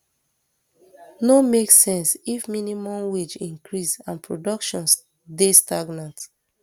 no make sense if minimum wage increase and production dey stagnant